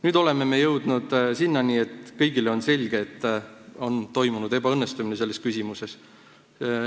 Nüüd oleme jõudnud sinnani, et kõigile on selge, et selle küsimuse lahendamine on ebaõnnestunud.